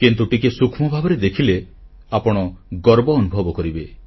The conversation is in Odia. କିନ୍ତୁ ଟିକିଏ ସୂକ୍ଷ୍ମ ଭାବରେ ଦେଖିଲେ ଆପଣ ଗର୍ବ ଅନୁଭବ କରିବେ